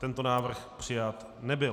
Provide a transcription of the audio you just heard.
Tento návrh přijat nebyl.